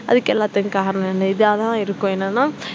அதுக்கு எல்லாத்துக்கும் காரணம் இருக்கும் என்னென்னா